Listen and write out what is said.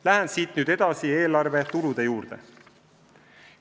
Lähen siit nüüd edasi eelarve tulude juurde.